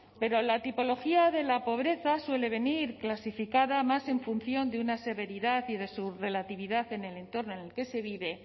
pero la tipología de la pobreza suele venir clasificada más en función de una severidad y de su relatividad en el entorno en el que se vive